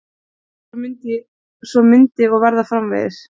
Svo myndi og verða framvegis.